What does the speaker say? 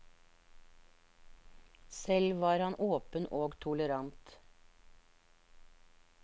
Selv var han åpen og tolerant.